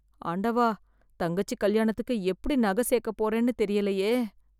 ஆண்டவா தங்கச்சி கல்யாணத்துக்கு எப்படி நக சேக்க போறேன்னு தெரியலையே.